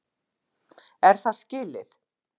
Er það skilið?